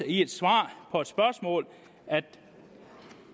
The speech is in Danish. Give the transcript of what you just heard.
i et svar på et spørgsmål at